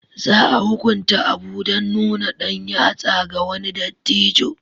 Za a hukunta Abu dan nuna ɗan yatsa ga wani dattijo